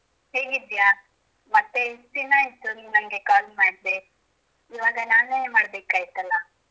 ಹೇಗಿದ್ದೀಯಾ ಮತ್ತೆ ಎಷ್ಟು ದಿನ ಆಯಿತು ನೀನ ನಂಗೆ call ಮಾಡದೆ ಇವಾಗ ನಾನೇ ಮಾಡ್ಬೇಕಾಯ್ತಲ್ಲಾ.